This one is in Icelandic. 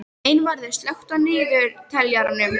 Einvarður, slökktu á niðurteljaranum.